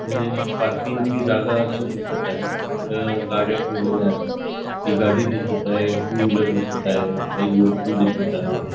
हे एक पार्किंग ची जागा अशी दिसत आहे तिथं गाड्या ठेवलेल्या आहेत एक गाडी दिसत आहे टू व्हीलर दिसत काही लोक पण दिसत आहे.